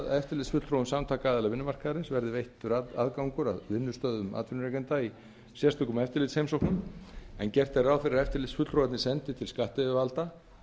eftirlitsfulltrúum samtaka aðila vinnumarkaðarins verði veittur aðgangur að vinnustöðum atvinnurekanda í sérstökum eftirlitsheimsóknum en gert er ráð fyrir að eftirlitsfulltrúarnir sendi til skattyfirvalda